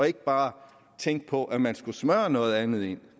ikke bare tænkte på at man skulle smøre noget andet i